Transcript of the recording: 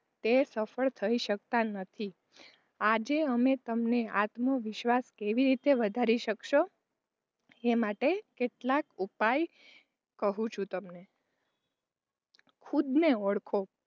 તે સફળ થય શકતા નથી. આજે અમે તમને આત્મવિશ્વાસ કેવી રીતે વધારી શકશો એ માટે કેટલાક ઉપાય કહું છું તમને ખુદને ઓળખો,